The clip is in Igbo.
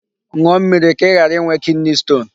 Ṅụọ mmịrị ka ị ghara ịnwe kidney stone.